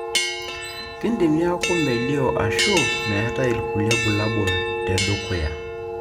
kindim niaku melio ashu metae ilkulie bulabul tedukuya.